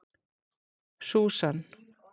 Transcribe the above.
Susan